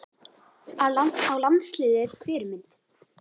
Á landsliðið Fyrirmynd?